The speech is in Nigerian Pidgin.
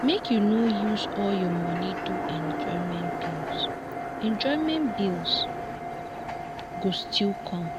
make you no use all your money do enjoyment bills enjoyment bills go still come.